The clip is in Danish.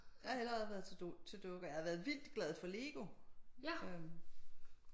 Jeg har heller aldrig været til dukker jeg har været vildt glad for LEGO øh